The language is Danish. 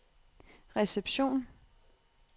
reception